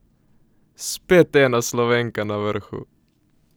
Spet ena Slovenka na vrhu!